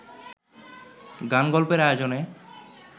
গান-গল্পের আয়োজনে